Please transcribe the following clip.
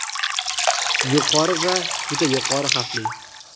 yuqori va juda yuqori xavfli.